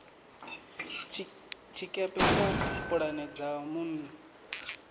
tshiketshe tsha pulane dza nnḓu